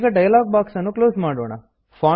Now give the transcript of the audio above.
ಈಗ dialogue box ನ್ನು close ಮಾಡೋಣ